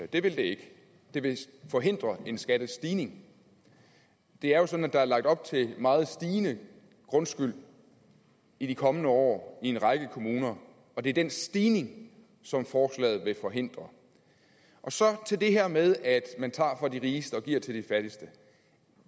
det vil det ikke det vil forhindre en skattestigning det er jo sådan at der er lagt op til meget stigende grundskyld i de kommende år i en række kommuner og det er den stigning forslaget vil forhindre så til det her med at man tager fra de rigeste og giver til de fattigste